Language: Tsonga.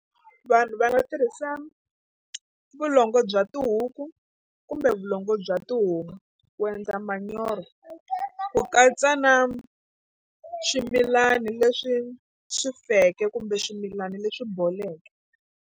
Vanhu va nga tirhisa vulongo bya tihuku kumbe vulongo bya tihomu ku endla manyoro ku katsa na swimilani leswi swi feke kumbe swimilana leswi boleke.